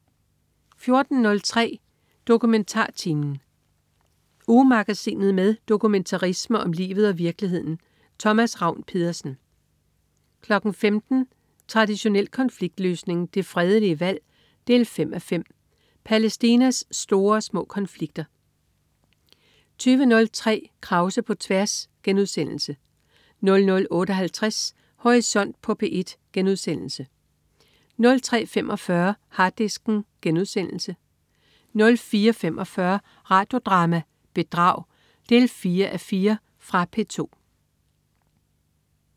14.03 DokumentarTimen. Ugemagasinet med dokumentarisme om livet og virkeligheden. Thomas Ravn-Pedersen 15.00 Traditionel konfliktløsning. Det fredelige valg 5:5. Palæstinas store og små konflikter 20.03 Krause på tværs* 00.58 Horisont på P1* 03.45 Harddisken* 04.45 Radio Drama: Bedrag 4:4. Fra P2